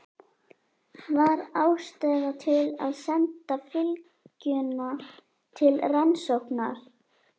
Var ástæða til að senda fylgjuna til rannsóknar?